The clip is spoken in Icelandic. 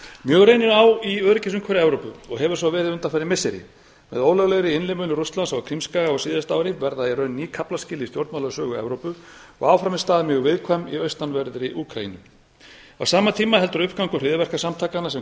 mjög reynir á í öryggisumhverfi evrópu og hefur verið svo undanfarin missiri með ólöglegri innlimun rússlands á krímskaga á síðasta ári verða í rauninni ný kaflaskil í stjórnmálasögu evrópu og áfram er staðan mjög viðkvæm í austanverðri úkraínu á sama tíma heldur uppgangur hryðjuverkasamtakanna sem